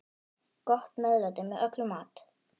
Gott meðlæti með öllum mat.